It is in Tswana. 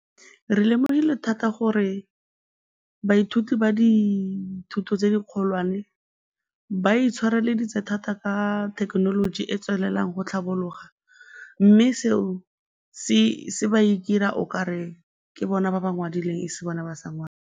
Re lemogile thata gore baithuti ba dithuto tse dikgolwane ba intshwareleditse thata ka thekenoloji e e tswelelang go tlhabologa mme seo se ba dira okare ke bona ba ba ngwadileng, e se bone ba sa ngwalang.